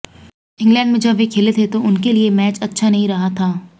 England में जब वे खेले थे तो उनके लिए मैच अच्छा नहीं रहा था